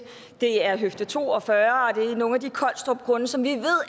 det er høfde to og fyrre og det er nogle af de collstrupgrunde som vi